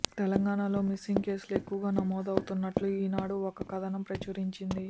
తెలంగాణలో మిస్సింగ్ కేసులు ఎక్కువగా నమోదవుతున్నట్లు ఈనాడు ఒక కథనం ప్రచురించింది